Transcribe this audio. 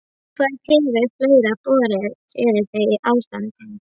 Hvað hefur fleira borið fyrir þig í þessu ástandi?